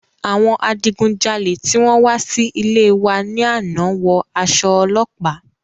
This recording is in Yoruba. Àwọn adigunjalè tí wọn wá sí ilée wa ní àná wọ aṣọ ọlọ́pàá.